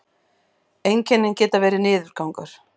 einkennin geta verið niðurgangur